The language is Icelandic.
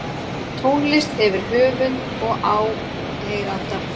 tónlist hefur höfund og áheyranda